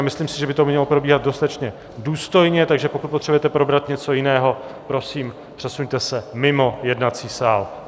A myslím si, že by to mělo probíhat dostatečně důstojně, takže pokud potřebujete probrat něco jiného, prosím, přesuňte se mimo jednací sál.